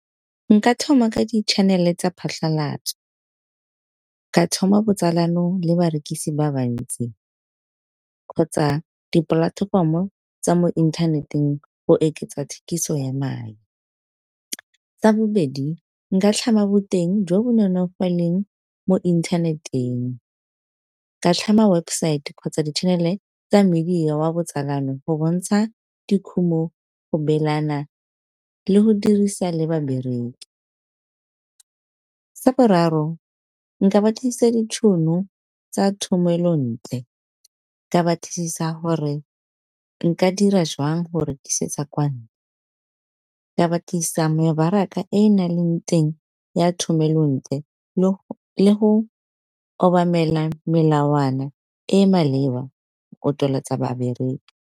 Nka thoma ka di-chanel-e tsa phatlhalatso ka thoma botsalano le barekisi ba bantsi, kgotsa dipolatefomo tsa mo inthaneteng go oketsa thekiso ya mae. Sa bobedi nka tlhama boteng jo bo nonofileng mo inthaneteng ka tlhama website kgotsa di-chanel-e tsa media, wa botsalano go bontsha dikhumo go beelana le go dirisa le babereki. Sa boraro nka batlisisa ditšhono tsa thomelontle ka batlisisa hore nka dira joang go rekisetsa kwano, ka batlisisa mebaraka e na leng teng ya thomelontle le go obamela melawana e e maleba o tsweletsa babereki.